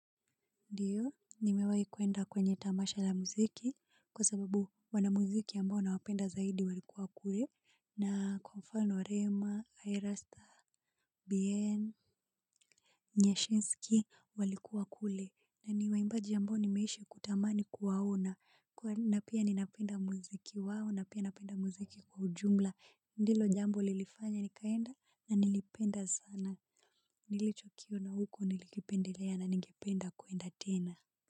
Ndiyo, nimewahi kuenda kwenye tamasha la muziki, kwa sababu wana muziki ambao nawapenda zaidi walikuwa wakue, na kwa mfano rema, irasta, bien, nyashinsky walikuwa kule, na ni waimbaji ambao nimeishi kutamani kuwaona, na pia ninapenda muziki wao, na pia napenda muziki kwa ujumla, ndilo jambo lilifanya nikaenda, na nilipenda sana, nilichokiona huko nilipendelea na ningependa kuenda tena.